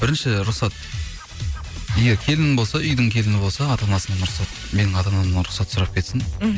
бірінші рұқсат егер келін болса үйдің келіні болса ата анасынан рұқсат менің ата анамнан рұқсат сұрап кетсін мхм